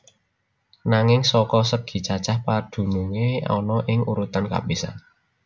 Nanging saka segi cacah padunungé ana ing urutan kapisan